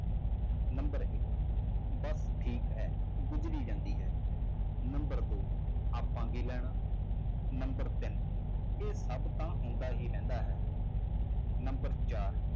Number ਇੱਕ ਬਸ ਠੀਕ ਹੈ ਗੁਜ਼ਰੀ ਜਾਂਦੀ ਹੈ number ਦੋ ਆਪਾਂ ਕੀ ਲੈਣਾ number ਤਿੰਨ ਇਹ ਸਭ ਤਾਂ ਹੁੰਦਾ ਹੀ ਰਹਿੰਦਾ ਹੈ number ਚਾਰ